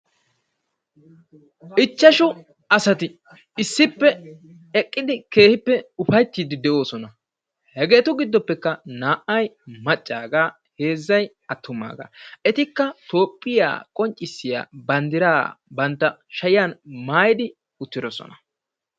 Ichchashu asati issippe eqqidi keehippe ufayttiiddi de"oosona. Hegeetu giddoppekka naa'ayi maccaagaa heezzayi attumaaga etikka toophiya qonccissiya banddiraa bantta shayan maayidi uttidosona.